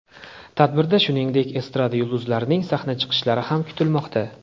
Tadbirda, shuningdek, estrada yulduzlarining sahna chiqishlari ham kutilmoqda.